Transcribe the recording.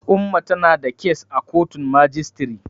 Umma tana da kes a kotun majistiri.